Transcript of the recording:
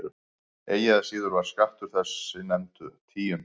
Eigi að síður var skattur þessi nefnd tíund.